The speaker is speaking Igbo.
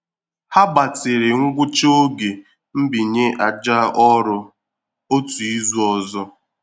Ha gbatịrị ngwụcha oge mbinye àjà ọrụ otu izu ọzọ.